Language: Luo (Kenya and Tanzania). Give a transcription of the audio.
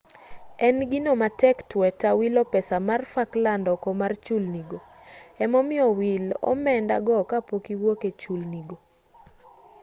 en gino matek tweta wilo pesa mar falkland oko mar chulni go emomiyo wil omenda go ka pok iwuok e chulni go